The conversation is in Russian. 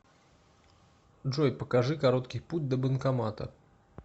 джой покажи короткий путь до банкомата